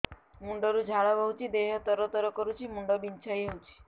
ମୁଣ୍ଡ ରୁ ଝାଳ ବହୁଛି ଦେହ ତର ତର କରୁଛି ମୁଣ୍ଡ ବିଞ୍ଛାଇ ହଉଛି